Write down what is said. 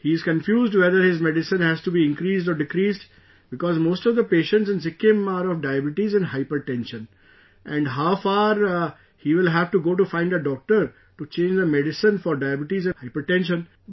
He is confused whether his medicine has to be increased or decreased, because most of the patients in Sikkim are of diabetes and hypertension and how far he will have to go to find a doctor to change the medicine for diabetes and hypertension